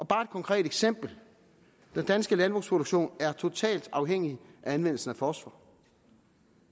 bare et konkret eksempel den danske landbrugsproduktion er totalt afhængig af anvendelsen af fosfor